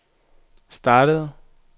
startede